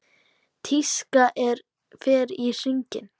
Tískan fer í hringi.